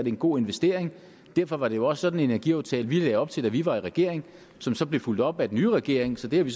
en god investering derfor var det jo også sådan en energiaftale vi lagde op til da vi var i regering som så blev fulgt op af den nye regering så det har vi